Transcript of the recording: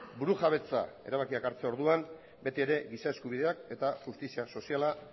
burujabetza erabakiak hartzerako orduan betiere giza eskubideak eta justizia soziala